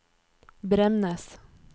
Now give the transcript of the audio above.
Bremnes